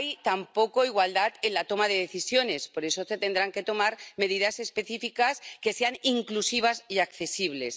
Tampoco hay igualdad en la toma de decisiones, por eso se tendrán que tomar medidas específicas que sean inclusivas y accesibles.